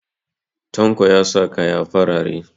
Tanko ya sa kaya farare